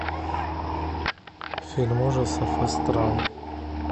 фильм ужасов астрал